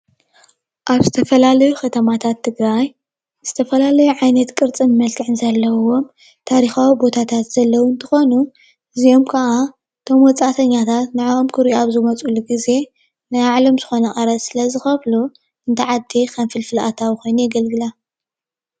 ኣብ ዝተፈላለዩ ከተማታት ትግራይ ዝተፈላለዩ ዓይነት ቅርፅን መልክዕን ዘለዎም ታሪኻዊ ቦታታት ዘለዉ እንትኾኑ እዚኦም ካዓ እቶም ወፃእተኛታት ንዕኦም ክሪኡ ኣብ ዝመፅሉ ግዜ ናይ ባዕሎም ዝኾነ ቀረፅ ስለ ዝኸፍሉ ነታ ዓዲ ከም ፍልፍል ኣታዊ ኮይኑ የገልግላ።